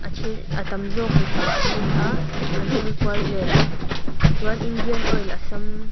a tam zawk mipa an ni a an hawi kual vel ti chuan indian oil assam .